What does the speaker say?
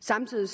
samtidig